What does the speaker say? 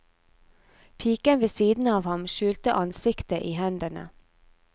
Piken ved siden av ham skjulte ansiktet i hendene.